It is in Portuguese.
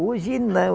Hoje não.